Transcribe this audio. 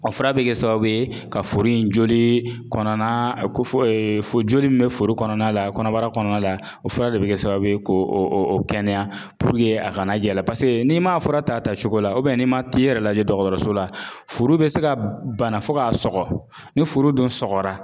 A fura bɛ kɛ sababu ye ka furu in joli kɔnɔna a ko fɔ fo joli min bɛ furu kɔnɔna la kɔnɔbara kɔnɔna la o fura de bɛ kɛ sababu ye k'o kɛnɛya a kana yɛlɛ n'i ma fura ta a tacogo la n'i ma t'i yɛrɛ lajɛ dɔgɔtɔrɔso la furu bɛ se ka bana fo k'a sɔgɔ ni furu dun sɔgɔra